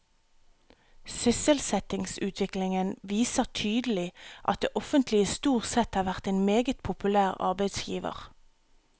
Sysselsettingsutviklingen viser tydelig at det offentlige stort sett har vært en meget populær arbeidsgiver.